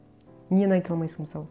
нені айта алмайсың мысалы